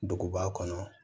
Duguba kɔnɔ